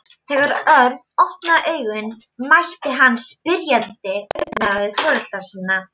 Þegar Örn opnaði augun mætti hann spyrjandi augnaráði foreldra sinna.